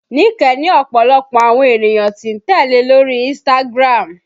Nike ní ọ̀pọ̀lọpọ̀ àwọn ènìyàn tí ń tẹ́lẹ̀ lórí Instagram